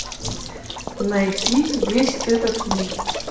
найти весь этот мир